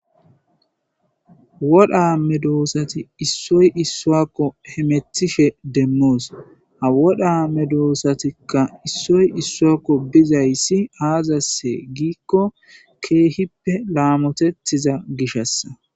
wodha amme doossati issoy issuakko he methishe demmoos ha wodha amme doossatikka issoy issuakko bizayssi aazasse giikko keehippe laamotettiza gishassa